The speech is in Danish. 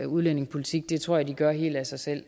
udlændingepolitik det tror jeg de gør helt af sig selv